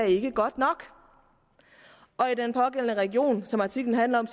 ikke er godt nok og i den pågældende region som artiklen handler om